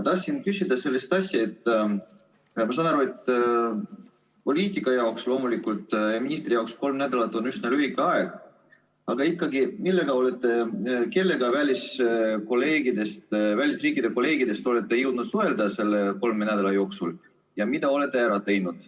Ma saan aru, et poliitika mõttes ja ministri jaoks on kolm nädalat loomulikult üsna lühike aeg, aga tahan ikkagi küsida, kellega välisriikide kolleegidest te olete jõudnud suhelda selle kolme nädala jooksul ja mida olete ära teinud.